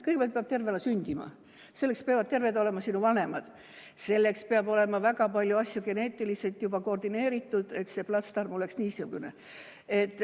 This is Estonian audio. Kõigepealt peab tervena sündima, selleks peavad terved olema sinu vanemad, selleks peavad olema väga paljud asjad geneetiliselt koordineeritud, et see platsdarm oleks niisugune.